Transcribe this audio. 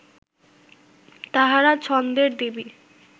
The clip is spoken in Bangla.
তাঁহারা ছন্দের দেবী